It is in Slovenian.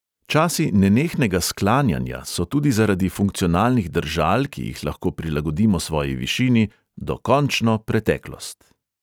Časi nenehnega sklanjanja so tudi zaradi funkcionalnih držal, ki jih lahko prilagodimo svoji višini, dokončno preteklost.